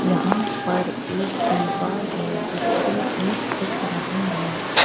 यहाँ पर एक दीवार है जिसपर ईट दिख रहीं हैं।